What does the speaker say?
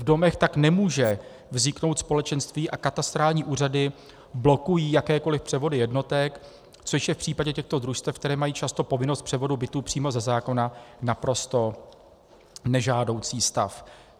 V domech tak nemůže vzniknout společenství a katastrální úřady blokují jakékoli převody jednotek, což je v případě těchto družstev, která mají často povinnost převodu bytů přímo ze zákona, naprosto nežádoucí stav.